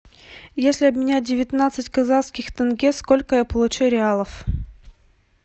если обменять девятнадцать казахских тенге сколько я получу реалов